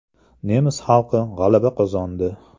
Nemis xalqi g‘alaba qozondi.